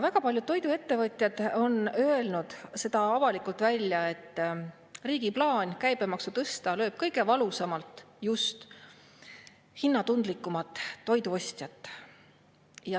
Väga paljud toiduettevõtjad on öelnud avalikult välja, et riigi plaan käibemaksu tõsta lööb kõige valusamalt just hinnatundlikumat toiduostjat.